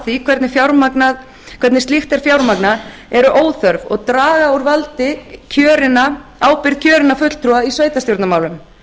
því hvernig slíkt er fjármagnað er óþörf og draga úr ábyrgð kjörinna fulltrúa í sveitarstjórnarmálum